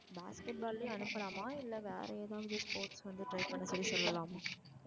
basket ball லுக்கே அனுப்பலாமா இல்ல வேற ஏதாவது sports ல வந்து அவல try பண்ண சொல்லி சொல்லலாமா?